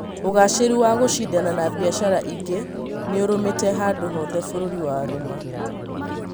Ũgacĩru wa gũcindana na biacara ingĩ nĩũrũmĩte handũ hothe bũrũri warũma